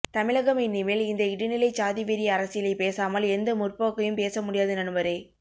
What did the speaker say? தமிழகம் இனிமேல் இந்த இடைநிலைச்சாதிவெறி அரசியலைப் பேசாமல் எந்த முற்போக்கையும் பேசமுடியாது நண்பரே